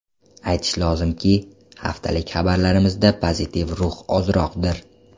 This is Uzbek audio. Aytish lozimki, haftalik xabarlarimizda pozitiv ruh ozroqdir.